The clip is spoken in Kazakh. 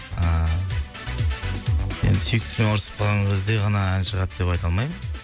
ыыы енді сүйіктісімен ұрсысып қалған кезде ғана ән шығады деп айта алмаймын